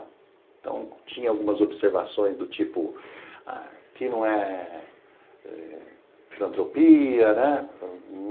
Então, tinha algumas observações do tipo, quem não é, filantropia, né?